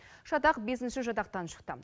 шатақ бесінші жатақтан шықты